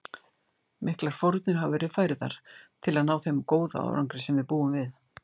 Miklar fórnir hafa verið færðar til að ná þeim góða árangri sem við búum við.